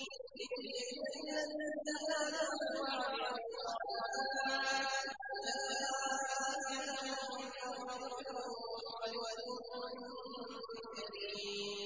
لِّيَجْزِيَ الَّذِينَ آمَنُوا وَعَمِلُوا الصَّالِحَاتِ ۚ أُولَٰئِكَ لَهُم مَّغْفِرَةٌ وَرِزْقٌ كَرِيمٌ